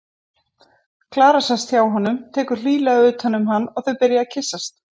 Klara sest hjá honum, tekur hlýlega utan um hann og þau byrja að kyssast.